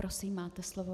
Prosím, máte slovo.